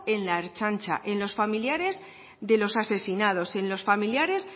en la ertzaintza en los familiares de los asesinados en los familiares